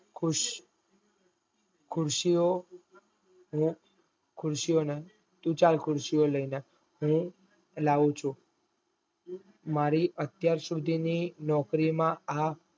તું ચલ ખુર્શીયો લઈને હું લાવું ચુ મારી અત્યાર સુધી ની નોકરી માં આ